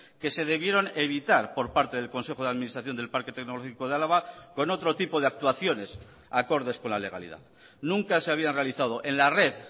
que se debieron evitar por parte del consejo de administración del parque tecnológico de álava con otro tipo de actuaciones acordes con la legalidad nunca se habían realizado en la red